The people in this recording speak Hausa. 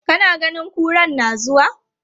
Kana ganin kuran na zuwa?